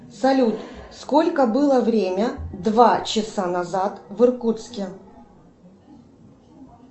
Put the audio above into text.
салют сколько было время два часа назад в иркутске